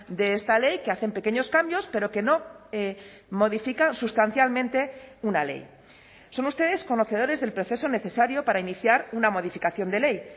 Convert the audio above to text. de esta ley que hacen pequeños cambios pero que no modifica sustancialmente una ley son ustedes conocedores del proceso necesario para iniciar una modificación de ley